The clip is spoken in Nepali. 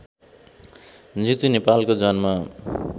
जितु नेपालको जन्म